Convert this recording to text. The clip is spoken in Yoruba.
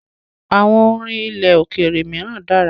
àwọn orin ilẹ̀ òkèèrè míràn dára.